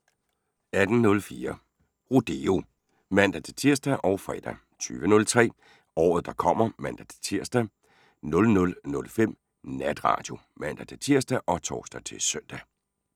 18:04: Rodeo (man-tir og fre) 20:03: Året der kommer (man-tir) 00:05: Natradio (man-tir og tor-søn)